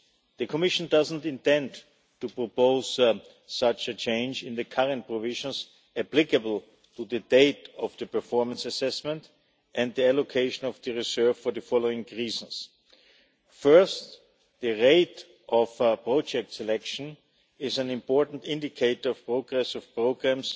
The Commission does not intend to propose such a change in the current provisions applicable to the date of the performance assessment and the allocation of the reserve for the following reasons First, the rate of project selection is an important indicator of progress of programmes